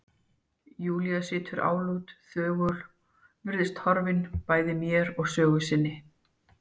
Júlía situr álút, þögul, virðist horfin bæði mér og sögu sinni.